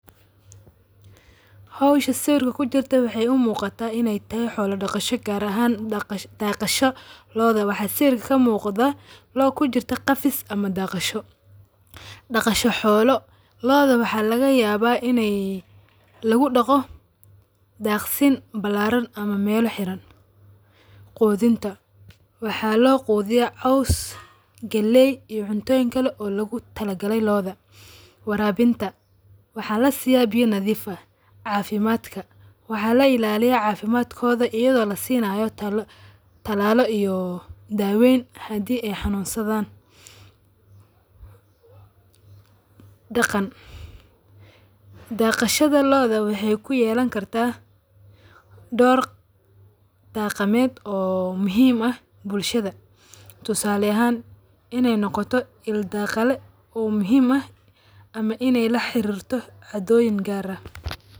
Hawsha sawirka kujirto waxay u muqato inay taho xoola daqasho gaar ahaan dagashadha loo da .Waxa sawirka ka muqdo loo kujirto qafiis ama daqasho. Daqasho xoolo lo`o da waxa lagayaba inay lagudago dagsiin balaraan ama meela xiraan. Qudhinta waxa loo qudhiya; caws, galay iyo cuntoyiin kala oo lagu talagalay lo`odha warabinta. Waxa lasiya biyo nadhiif aah cafimadka waxa laa ilaliya cafimadkodha ayadho lasinayo talalo iyo dawooyin hadi ay xanusadhan. Dagan, daqashada lo`oda waxay ku yeelani kartaa door dagameed oo muhiim aah bulshada. Toosale ahan inay noqoto ildagala oo muhiim ah ama inay laxarirto cadoyiin gaar ah.